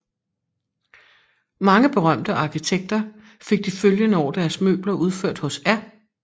Mange berømte arkitekter fik de følgende år deres møbler udført hos R